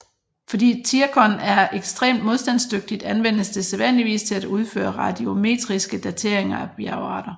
Fordi zirkon er ekstremt modstandsdygtigt anvendes det sædvanligvis til at udføre radiometriske dateringer af bjergarter